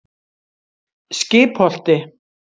Skipholti